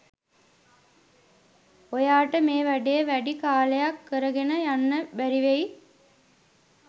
ඔයාට මේ වැඩේ වැඩි කාලයක් කරගෙන යන්න බැරිවෙයි.